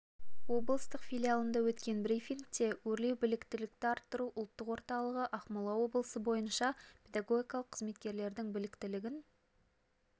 облыстық филиалында өткен брифингте өрлеу біліктілікті арттыру ұлттық орталығы ақмола облысы бойынша педагогикалық қызметкерлердің біліктілігін